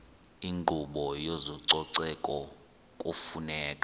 inkqubo yezococeko kufuneka